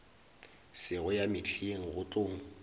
sego ya mehleng go tlo